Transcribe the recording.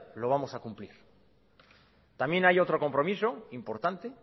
lo vamos a cumplir también hay otro compromiso importante